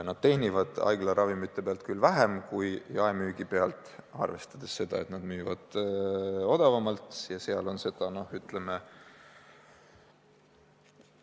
Nad teenivad haiglaravimite pealt küll vähem kui jaemüügi pealt, arvestades seda, et nad müüvad haiglatele odavamalt.